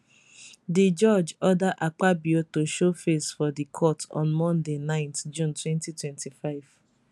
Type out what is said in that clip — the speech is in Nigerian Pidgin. di judge order akpabio to show face for di court on monday 9 june 2025